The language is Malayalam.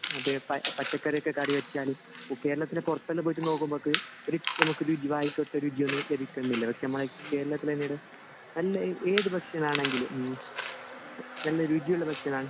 അതെ പച്ചക്കറി ഒക്കെ കറിവെച്ചാൽ കേരളത്തിൻ്റെ പൊറത്തെല്ലാം പോയിട്ട് നോക്കുമ്പക്ക് ഒരു നമുക്കൊരു ലഭിക്കുന്നില്ല പക്ഷെ നമ്മളെ കേരളത്തിൽ എങ്ങിനെണ് എല്ലാ ഏത് ഭക്ഷണം ആണെങ്കിലും നല്ല രുചിയുള്ള ഭക്ഷണം ആണ്